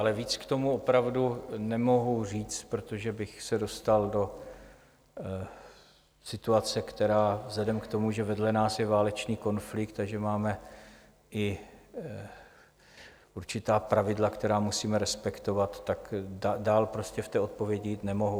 Ale víc k tomu opravdu nemohu říct, protože bych se dostal do situace, která vzhledem k tomu, že vedle nás je válečný konflikt a že máme i určitá pravidla, která musíme respektovat, tak dál prostě v té odpovědi jít nemohu.